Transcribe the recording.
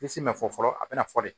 Bilisi ma fɔ fɔlɔ a bɛna fɔ de